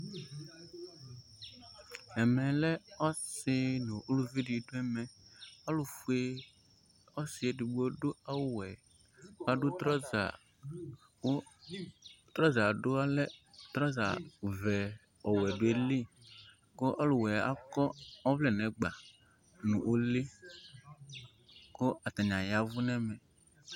Ɛmɛ lɛ ɔsi nu uluʋi di du ɛmɛ Ɔlu fue osi edigbo du awu wɛ Adu trɔza ku, trɔza'du ɔlɛ trɔza ʋɛ ɔwɛ due lɩ, kɔ ɔlu wɛ akɔ ɔʋlɛ n'ɛgba nu ulɩ, kɔ atani ayaʋu n'ɛmɛ